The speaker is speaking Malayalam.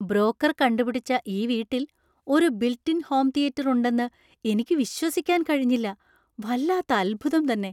ബ്രോക്കർ കണ്ടുപിടിച്ച ഈ വീട്ടിൽ ഒരു ബിൽറ്റ് ഇൻ ഹോം തിയേറ്റർ ഉണ്ടെന്ന് എനിക്ക് വിശ്വസിക്കാൻ കഴിഞ്ഞില്ല. വല്ലാത്ത അത്ഭുതം തന്നെ.